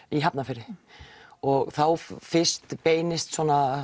í Hafnarfirði og þá fyrst beinist